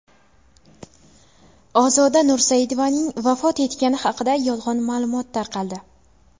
Ozoda Nursaidovaning vafot etgani haqida yolg‘on ma’lumot tarqaldi .